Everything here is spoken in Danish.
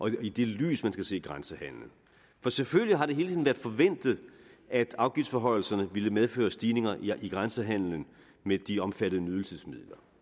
er i det lys man skal se grænsehandelen for selvfølgelig har det hele tiden været forventet at afgiftsforhøjelserne ville medføre stigninger i grænsehandelen med de omfattede nydelsesmidler